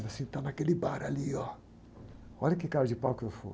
Ele falou assim, está naquele bar ali ó, olha que cara de pau que eu fui.